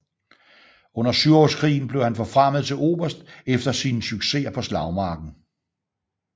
Under Syvårskrigen blev han forfremmet til oberst efter sine successer på slagmarken